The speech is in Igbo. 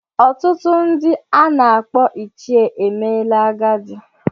Ọtụtụ ndị a na-akpọ ichie emeela agadi.